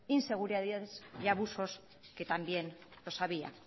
inseguradidades y abusos que también los había